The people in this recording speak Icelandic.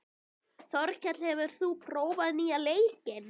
Þorkell, hefur þú prófað nýja leikinn?